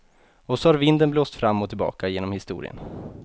Och så har vinden blåst fram och tillbaka genom historien.